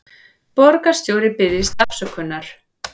Borgarstjóri biðjist afsökunar